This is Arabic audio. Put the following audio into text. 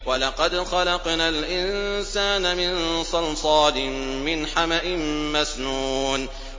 وَلَقَدْ خَلَقْنَا الْإِنسَانَ مِن صَلْصَالٍ مِّنْ حَمَإٍ مَّسْنُونٍ